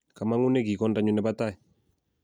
kamang'une kiy kondanyu nebo tai